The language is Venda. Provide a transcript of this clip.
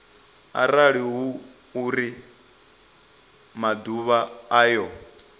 arali hu uri maḓuvha ayo